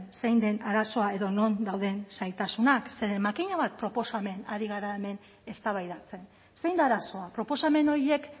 zein den arazoa edo non dauden zailtasunak zeren makina bat proposamen ari gara hemen eztabaidatzen zein da arazoa proposamen horiek